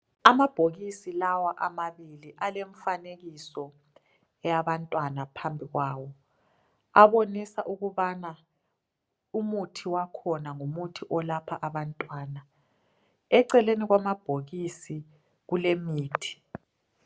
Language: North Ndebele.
Amabhokisi lawa amabili alemfanekiso yabantwana phambi kwawo abonisa ukubana umuthi wakhona ngumuthi olapha abantwana eceleni kwamabhokisi kulemithi.